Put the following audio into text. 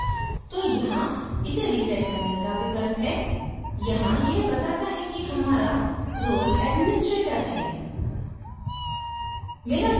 यदि हम नहीं जानते तो यहाँ इसे reset करने का विकल्प है यहाँ यह बताता है कि हमारा role administrator है